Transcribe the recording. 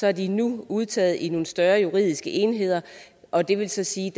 er de nu udtaget i nogle større juridiske enheder og det vil så sige